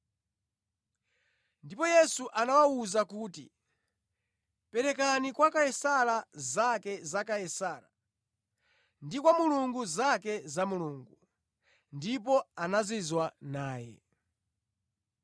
Ndipo Yesu anawawuza kuti, “Perekani kwa Kaisara zake za Kaisara ndi kwa Mulungu zake za Mulungu.” Ndipo anazizwa naye.